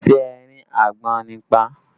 Ṣé ẹ rí àgbọ̀nrín pa?